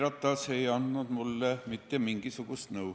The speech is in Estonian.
Jüri Ratas ei andnud mulle mitte mingisugust nõu.